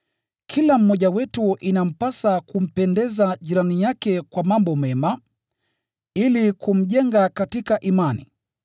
Kila mmoja wetu inampasa kumpendeza jirani yake kwa mambo mema, ili kumjenga katika imani.